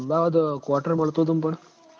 Ahmedabad quarters માં રતો તો ન પણ